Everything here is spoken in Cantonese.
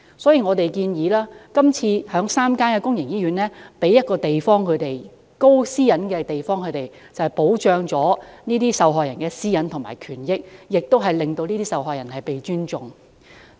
所以，今次的議案亦建議在3間醫院騰出私隱度高的空間，以保障受害人的私隱和權益，令受害人獲得尊重。